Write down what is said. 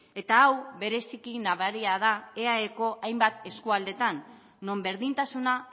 eta hau bereziki nabaria da eaeko hainbat eskualdetan non berdintasuna